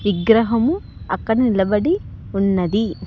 విగ్రహము అక్కడ నిలబడి ఉన్నది.